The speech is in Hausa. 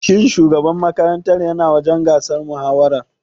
Shin shugaban makarantar ya na wajen gasar mahawarar?